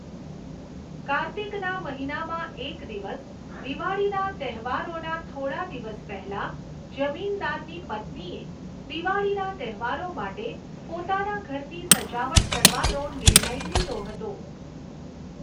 કાર્તિકના મહિનામાં એક દિવસ, દિવાળીના તહેવારોના થોડા દિવસ પહેલા, જમીનદારની પત્નીએ દિવાળીના તહેવારો માટે પોતાના ઘરની સજાવટ કરવાનો નિર્ણય લીધો હતો.